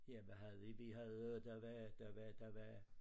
Ja hvad havde vi vi havde der var der var der var